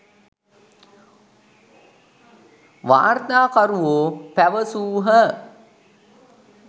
වාර්තාකරුවෝ පැවැසූහ.